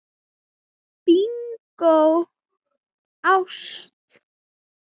Bingó: ást.